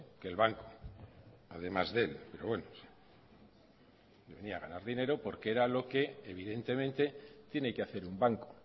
que el banco además de él pero bueno venía a ganar dinero porque era lo que evidentemente tiene que hacer un banco